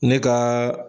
Ne ka